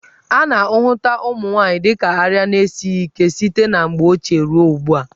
A na-ahụta ụmụ nwaanyị dị ka arịa na-esighi ike site na mgbe ochie ruo ugbu a.